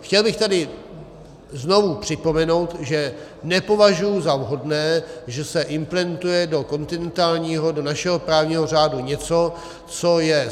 Chtěl bych tady znovu připomenout, že nepovažuji za vhodné, že se implementuje do kontinentální, do našeho právního řádu něco, co je